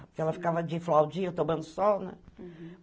Porque ela ficava de flaudinha, tomando sol, né?